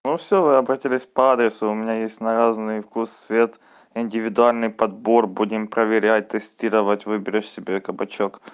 но всё вы обратились по адресу у меня есть на разный вкус цвет индивидуальный подбор будем проверять тестировать выберешь себе кабачок